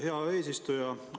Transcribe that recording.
Hea eesistuja!